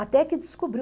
Até que descobriu.